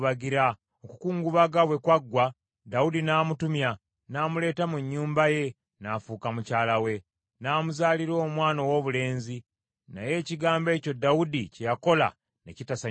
Okukungubaga bwe kwaggwa, Dawudi n’amutumya, n’amuleeta mu nnyumba ye, n’afuuka mukyala we, n’amuzaalira omwana owoobulenzi. Naye ekigambo ekyo Dawudi kye yakola ne kitasanyusa Mukama .